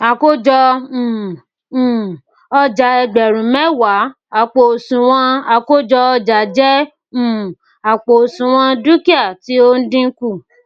àkójọ um um ọjà ẹgbẹrun mẹwàá àpò òsùnwọn àkójọ ọjà jẹ um àpò òsùnwọn dúkìá tí o n dínkù